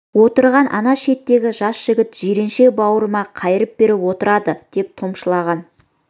отырған ана шеттегі жас жігіт жиренше бауырыма қайырып беріп отырады деп топшылаған